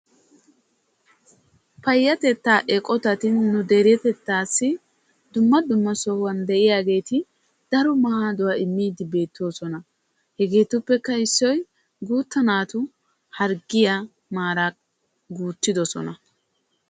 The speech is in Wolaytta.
Payatetta eqotatti nu biittassi dumma dumma sohuwan de'iyaagetti daro maaduwaa immosonna. Hegeetuppe issoy guutta naatu harggiya maara loyttidosonna.